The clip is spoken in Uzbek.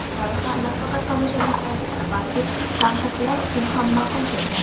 Loyiha nafaqat tomoshabinlarga, balki tanqidchilar uchun ham ma’qul kelgan.